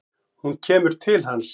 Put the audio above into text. Hún kemur til hans.